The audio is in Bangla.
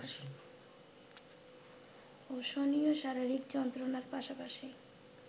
অসহনীয় শারীরিক যন্ত্রণার পাশাপাশি